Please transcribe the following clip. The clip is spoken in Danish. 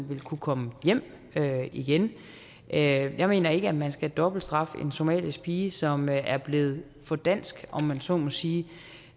vil kunne komme hjem igen jeg mener ikke at man skal dobbeltstraffe en somalisk pige som er blevet for dansk om man så må sige